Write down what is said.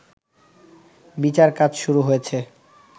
বিচার কাজ শুরু হয়েছে